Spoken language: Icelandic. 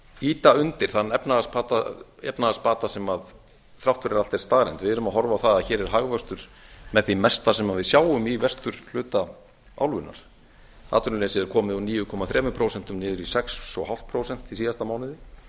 ýta undir þann efnahagsbata sem þrátt fyrir allt er staðreynd við erum að horfa á það að hér er hagvöxtur með því versta sem við sjáum í vesturhluta álfunnar atvinnuleysi er komið úr níu komma þrjú prósent niður í sex og hálft prósent í síðasta mánuði